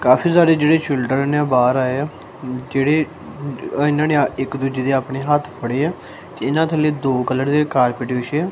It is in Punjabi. ਕਾਫੀ ਸਾਰੇ ਜਿਹੜੇ ਚਿਲਡਰਨ ਆ ਬਾਹਰ ਆਏ ਆ ਜਿਹੜੇ ਇਹਨਾਂ ਨੇ ਇੱਕ ਦੂਜੇ ਦੇ ਆਪਣੇ ਹੱਥ ਫੜੇ ਆ ਇਹਨਾਂ ਥੱਲੇ ਦੋ ਕਲਰ ਦੇ ਕਾਰਪੇਟ ਵਿਛੇ ਹੈ।